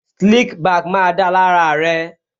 Slick back má da lára rẹ